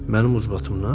Mənim ucbatımdan?